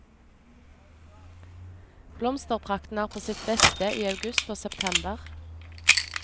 Blomsterprakten er på sitt beste i august og september.